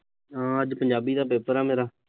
ਹਮ ਅੱਜ ਪੰਜਾਬੀ ਦਾ ਪੇਪਰ ਆ ਮੇਰਾ।